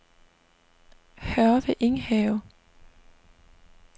Hørve Enghave